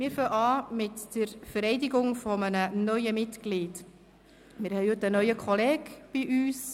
Wir beginnen mit der Vereidigung eines neuen Mitglieds.